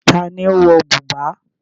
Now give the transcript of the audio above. Ta ni ó ń wọ bùbá?